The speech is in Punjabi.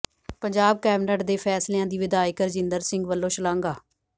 ਪੰਜਾਬ ਕੈਬਨਿਟ ਦੇ ਫ਼ੈਸਲਿਆਂ ਦੀ ਵਿਧਾਇਕ ਰਜਿੰਦਰ ਸਿੰਘ ਵੱਲੋਂ ਸ਼ਲਾਘਾ